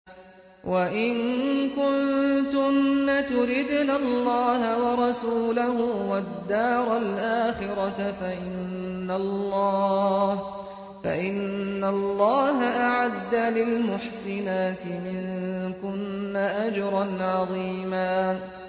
وَإِن كُنتُنَّ تُرِدْنَ اللَّهَ وَرَسُولَهُ وَالدَّارَ الْآخِرَةَ فَإِنَّ اللَّهَ أَعَدَّ لِلْمُحْسِنَاتِ مِنكُنَّ أَجْرًا عَظِيمًا